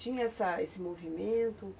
Tinha essa esse movimento?